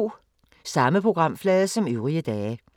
Samme programflade som øvrige dage